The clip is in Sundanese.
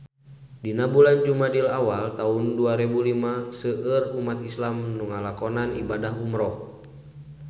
Dina bulan Jumadil awal taun dua rebu lima seueur umat islam nu ngalakonan ibadah umrah